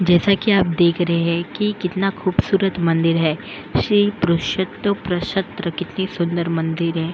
जैसा कि आप देख रहे हैं कि कितना खूबसूरत मंदिर है श्री पुरुषोत्त प्रशत्र कितनी सुंदर मंदिर है।